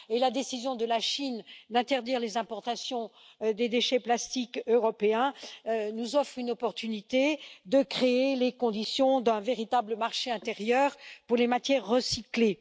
La décision de la Chine d'interdire les importations de déchets plastiques européens nous offre une opportunité de créer les conditions d'un véritable marché intérieur pour les matières recyclées.